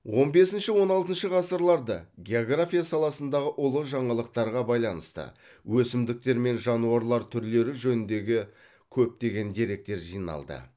он бесінші он алтыншы ғасырларда география саласындағы ұлы жаңалықтарға байланысты өсімдіктер мен жануарлар түрлері жөніндегі көптеген деректер жиналды